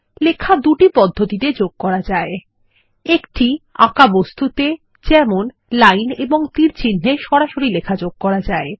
লেখা দুটি পদ্ধতিতে যোগ করা যায় একটি আঁকা বস্তুতে যেমন লাইন এবং তীরচিহ্ন এ সরাসরি লেখা যোগ করা যায়